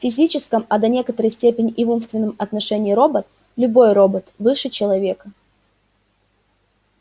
в физическом а до некоторой степени и в умственном отношении робот любой робот выше человека